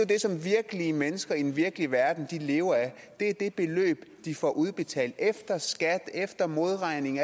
det som virkelige mennesker i den virkelige verden lever af det er det beløb de får udbetalt efter skat efter modregning